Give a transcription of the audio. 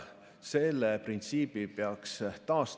Selle printsiibi peaks taastama.